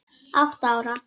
Átta ára